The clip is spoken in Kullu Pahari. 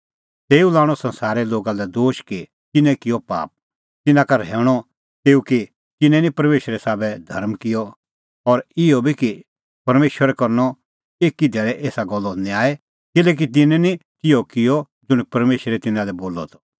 तेऊ लाणअ संसारे लोगा लै दोश कि तिन्नैं किअ पाप तिन्नां का रहैऊंणअ तेऊ कि तिन्नैं निं परमेशरे साबै धर्म किअ और इहअ बी कि परमेशरा करनअ एकी धैल़ी एसा गल्लो न्याय किल्हैकि तिन्नैं निं तिहअ किअ ज़ुंण परमेशरै तिन्नां लै बोलअ त